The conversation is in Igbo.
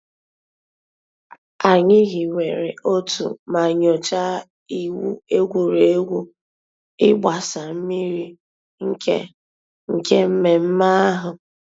Ànyị̀ hìwèrè òtù mà nyòchàá ìwù ègwè́ré́gwụ̀ ị̀gbàsa mmìrì nke nke mmẹ̀mmẹ̀ àhụ̀.